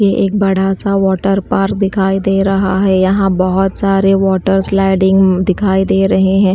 ये एक बड़ा सा वाटरपार्क दिखाई दे रहा है यहां बहोत सारे वाटर स्लाइडिंग दिखाई दे रहे हैं।